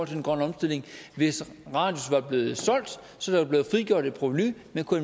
den grønne omstilling hvis radius var blevet solgt så der var blevet frigjort et provenu man kunne